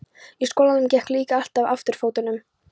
Í skólanum gekk líka allt á afturfótunum.